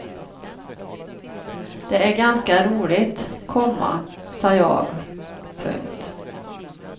Det är ganska roligt, komma sa jag. punkt